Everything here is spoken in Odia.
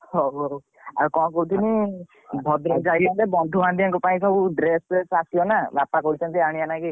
ହଉ ହଉ ଆଉ କଣ କହୁଥିଲି ଭଦ୍ରକ ଯାଇଥାନ୍ତେ ବନ୍ଧୁ ବାନ୍ଧିବାଙ୍କପାଇଁ ସବୁ ଡ୍ରେସ ପ୍ରେସ ଆସିବନା ବାପା କହିଛନ୍ତି ଆଣିବାଲାଗି।